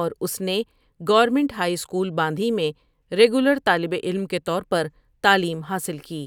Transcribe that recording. اور اس نے گورنمینٹ ھائی اسکول باندھی میں ریگیولر طالب العلم کے طور پر تعلیم حاصل کی ۔